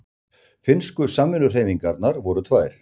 Finnsku samvinnuhreyfingarnar voru tvær.